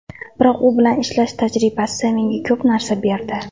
Biroq u bilan ishlash tajribasi menga ko‘p narsa berdi.